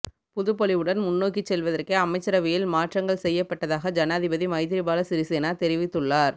புதுப் பொலிவுடன் முன்நோக்கிச் செல்வதற்கே அமைச்சரவையில் மாற்றங்கள் செய்யப்பட்டதாக ஜனாதிபதி மைத்திரிபால சிறிசேன தெரிவித்துள்ளார்